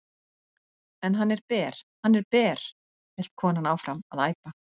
En hann er ber, hann er ber hélt konan áfram að æpa.